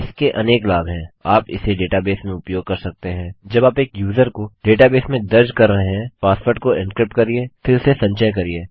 इसके अनेक लाभ हैं आप इसे डेटाबेसेस में उपयोग कर सकते हैं जब आप एक यूज़र को डेटा बेस में दर्ज़ कर रहे हैं पासवर्ड को एनक्रिप्ट करिये फिर उसे संचय करिये